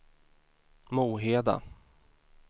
Moheda